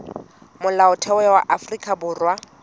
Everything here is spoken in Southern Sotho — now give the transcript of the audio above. molaotheo wa afrika borwa o